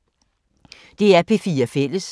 DR P4 Fælles